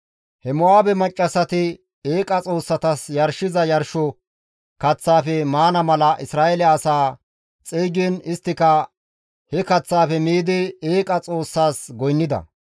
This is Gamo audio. He Mo7aabe maccassati eeqa xoossatas yarshiza yarsho kaththaafe maana mala Isra7eele asaa xeygiin isttika he kaththaafe miidi eeqa xoossas goynnida.